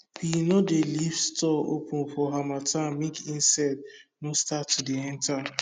we no dey leave store open for harmattan make insect no start to dey enter